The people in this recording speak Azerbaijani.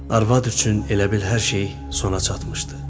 Arvad üçün elə bil hər şey sona çatmışdı.